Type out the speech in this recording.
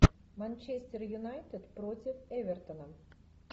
манчестер юнайтед против эвертона